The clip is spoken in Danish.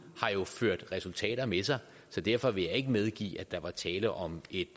har jo ført resultater med sig så derfor vil jeg ikke medgive at der var tale om et